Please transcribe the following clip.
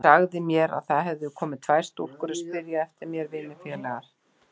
Hún sagði mér að það hefðu komið tvær stúlkur að spyrja eftir mér, vinnufélagar.